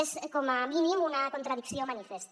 és com a mínim una contradicció manifesta